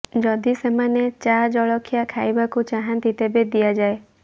ଯଦି ସେମାନେ ଚା ଜଳଖିଆ ଖାଇବାକୁ ଚାହାନ୍ତି ତେବେ ଦିଆଯାଏ